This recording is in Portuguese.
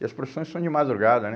E as procissões são de madrugada, né?